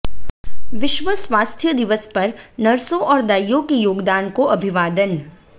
विश्व स्वास्थ्य दिवस पर नर्सों और दाइयों के योगदान को अभिवादन